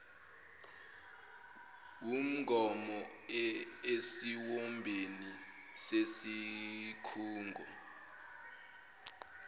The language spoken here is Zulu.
wumgomo esiwombeni sesikhungo